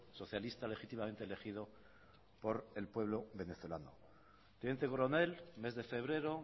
socialista legítimamente elegido por el pueblo venezolano teniente coronel mes de febrero